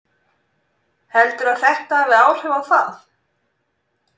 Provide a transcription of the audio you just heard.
Heldurðu að þetta hafi áhrif á það?